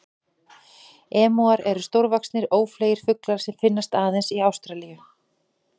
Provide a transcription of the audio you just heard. Emúar eru stórvaxnir, ófleygir fuglar sem finnast aðeins í Ástralíu.